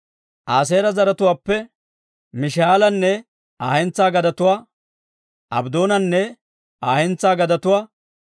Aaseera zaratuwaappe Mish"aalanne Aa hentsaa gadetuwaa, Abddoonanne Aa hentsaa gadetuwaa,